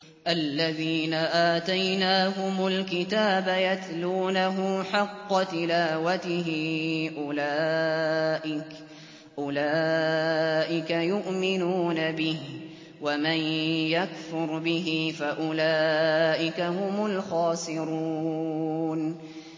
الَّذِينَ آتَيْنَاهُمُ الْكِتَابَ يَتْلُونَهُ حَقَّ تِلَاوَتِهِ أُولَٰئِكَ يُؤْمِنُونَ بِهِ ۗ وَمَن يَكْفُرْ بِهِ فَأُولَٰئِكَ هُمُ الْخَاسِرُونَ